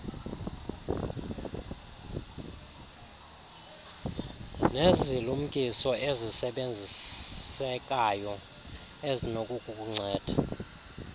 nezilumkiso ezisebenzisekayo ezinokukunceda